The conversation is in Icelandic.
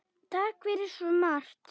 Takk fyrir svo margt.